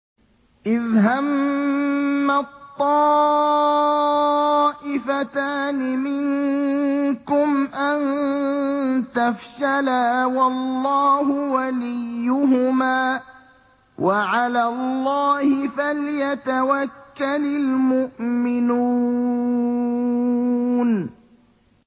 إِذْ هَمَّت طَّائِفَتَانِ مِنكُمْ أَن تَفْشَلَا وَاللَّهُ وَلِيُّهُمَا ۗ وَعَلَى اللَّهِ فَلْيَتَوَكَّلِ الْمُؤْمِنُونَ